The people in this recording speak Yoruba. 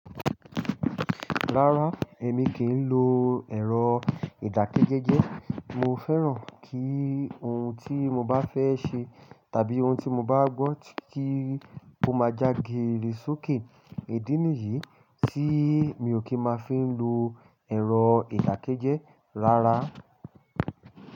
Rárá, èmi kì í lo ẹ̀rọ ìdákẹ́jẹ́jẹ́. Mo fẹ́ràn kí ohun tí mo bá fẹ́ ṣe tàbí ohun tí mo bá gbọ́ kí ó má já géérè sókè. Í dí nìyí tí mi ò kí máa fi ń lo ẹ̀rọ ìdákẹ́jẹ́ rárá.